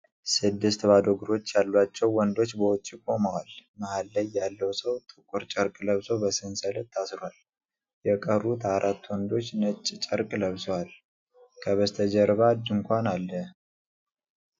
ስድስት ባዶ እግሮች ያላቸው ወንዶች በውጪ ቆመዋል። መሃል ላይ ያለው ሰው ጥቁር ጨርቅ ለብሶ በሰንሰለት ታስሯል፤ የተቀሩት አራት ወንዶች ነጭ ጨርቅ ለብሰው፣ ከበስተጀርባ ድንኳን አለ።